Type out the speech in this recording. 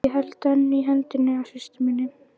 Ég held enn í höndina á systur minni.